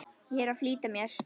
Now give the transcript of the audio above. Ég er að flýta mér!